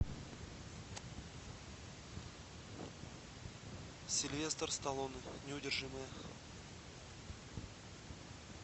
сильвестр сталлоне неудержимые